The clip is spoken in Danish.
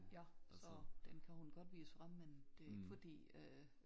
Ja så den kan hun godt vise frem men det er ikke fordi øh